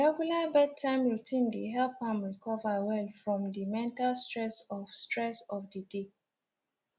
regular bedtime routine dey help am recover well from the mental stress of stress of the day